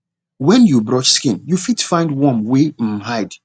when you brush skin you fit find worm wer um hide